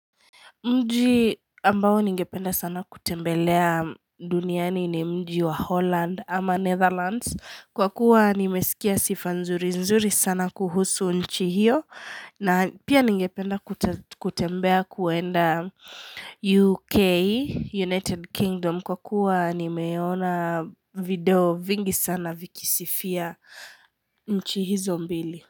Mji ambao ningependa sana kutembelea duniani ni mji wa Holland ama Netherlands Kwa kuwa nimesikia sifa nzuri nzuri sana kuhusu nchi hiyo na pia ningependa kutembea kuenda UK, United Kingdom Kwa kuwa nimeona video vingi sana vikisifia nchi hizo mbili.